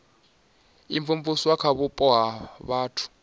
imvumvusa kha vhupo ha vhathu